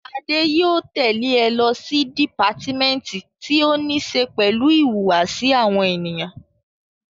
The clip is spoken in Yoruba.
Adé yóò tẹ̀le ẹ lọ sí dìpátímẹ́ǹtì tí ó ní ṣe pẹ̀lú ìhùwàsí àwọn ènìyàn